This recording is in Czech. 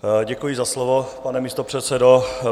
Děkuji za slovo, pane místopředsedo.